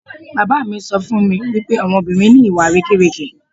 Bàbá mi sọ fún mi wípé àwọn obìnrin ni ìwà àrékérekè.